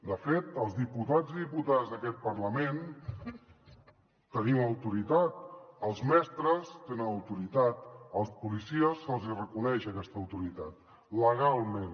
de fet els diputats i diputades d’aquest parlament tenim autoritat els mestres tenen autoritat als policies se’ls hi reconeix aquesta autoritat legalment